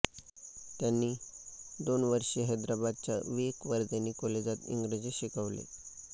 त्यांनी दोन वर्षे हैदराबादच्या विवेकवर्धिनी कॉलेजात इंग्रजी शिकवले